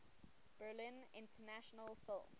berlin international film